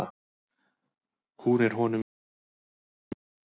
hún er honum síðri að visku